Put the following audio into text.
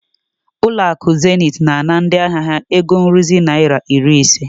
Zenith Bank is charging their customers fifty naira maintenance fee.